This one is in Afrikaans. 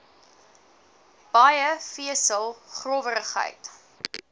baie vesel growwerigheid